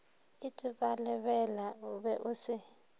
itebalebela o be o se